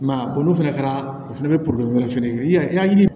I m'a ye n'o fɛnɛ kɛra o fɛnɛ bɛ wɛrɛ fɛnɛ kɛ i ka yiri